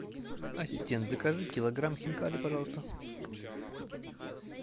ассистент закажи килограмм хинкали пожалуйста